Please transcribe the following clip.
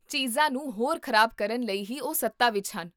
ਚੀਜ਼ਾਂ ਨੂੰ ਹੋਰ ਖ਼ਰਾਬ ਕਰਨ ਲਈ ਹੀ ਉਹ ਸੱਤਾ ਵਿੱਚ ਹਨ